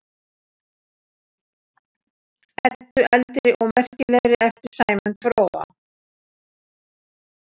Eddu eldri og merkilegri eftir Sæmund fróða.